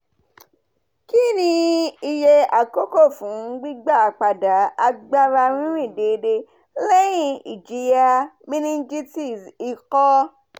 kini iye akoko fun gbigbapada agbara ririn deede lẹhin ijiya meningitis iko?